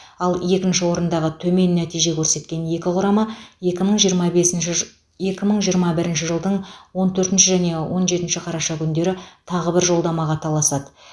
ал екінші орындағы төмен нәтиже көрсеткен екі құрама екі мың жиырма бесінші жы екі мың жиырма бірінші жылдың он төртінші және он жетінші қараша күндері тағы бір жолдамаға таласады